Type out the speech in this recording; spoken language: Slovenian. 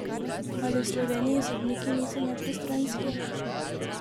Ali v Sloveniji sodniki niso nepristranski?